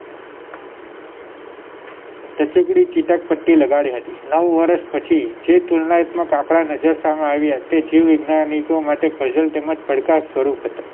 ટચૂકડી ચીટક પદ્ધતિ લગાડી હતી નવ વર્ષ પછી જે તુલનાયાત્મક આંકડા નજર સમક્ષ સામે આવ્યા તે જીવવિજ્ઞાનીકો માટે puzzle તેમજ પડકાર સ્વરૂપ હતા